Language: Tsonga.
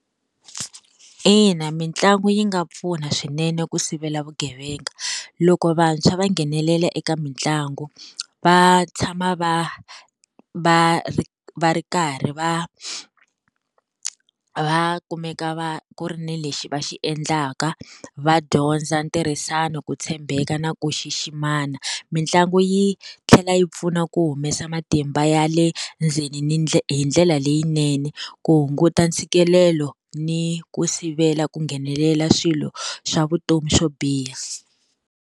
Ina mitlangu yi nga pfuna swinene ku sivela vugevenga loko vantshwa va nghenelela eka mitlangu va tshama va va va ri karhi va va kumeka va ku ri ni lexi va xi endlaka va dyondza ntirhisano, ku tshembeka, na ku ximana mitlangu yi tlhela yi pfuna ku humesa matimba ya le ndzeni ni hi ndlela leyinene ku hunguta ntshikelelo ni ku sivela ku nghenelela swilo swa vutomi swo biha.